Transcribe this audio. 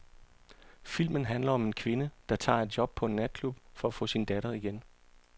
Filmen handler om en kvinde, der tager et job på en natklub for at få sin datter igen.